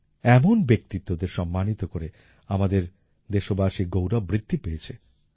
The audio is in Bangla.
এমন ব্যক্তিত্ব দের সম্মানিত করে আমাদের দেশবাসীর গৌরব বৃদ্ধি পেয়েছে